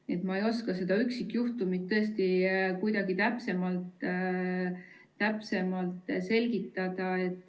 Nii et ma ei oska seda üksikjuhtumit tõesti kuidagi täpsemalt selgitada.